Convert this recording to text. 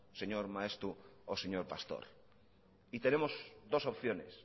señor maeztu o señor pastor y tenemos dos opciones